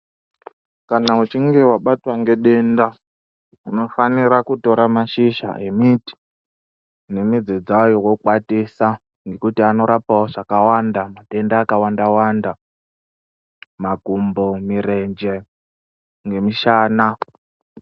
Kana uchinge wabatwa ngedenda ufanira kutora mashizha emiti nemudzi dzayo wokwatisa nekuti anorapawo zvakawanda matenda akawanda makumbo murenje nemushana